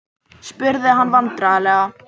spurði hann vandræðalega.